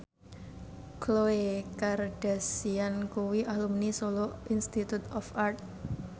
Khloe Kardashian kuwi alumni Solo Institute of Art